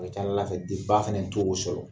ba fana to o sɔrɔ